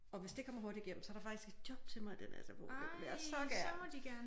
Og hvis det kommer hurtigt igennem så der faktisk et job til mig i den sfo det vil jeg så gerne